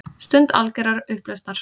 Stund algjörrar upplausnar.